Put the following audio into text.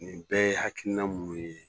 Nin bɛɛ ye hakiina mun ye